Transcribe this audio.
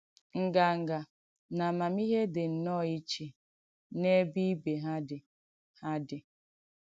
Ǹgàngà nà àmàmihé dị̀ nnọ́ọ̀ ìchè n’èbè ìbè ha dị̀. ha dị̀.